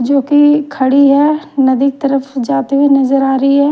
जो की खड़ी है। नदी तरफ जाते हुए नजर आ रही है।